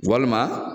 Walima